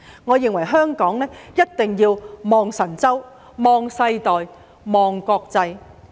我認為香港一定要望神州、望世代、望國際。